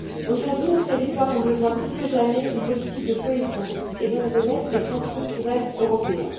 Aujourd'hui, nos territoires ont besoin plus que jamais d'une politique de cohésion et donc de l'aide des fonds structurels européens.